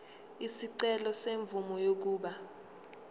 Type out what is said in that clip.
isicelo semvume yokuba